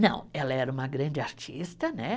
Não, ela era uma grande artista, né?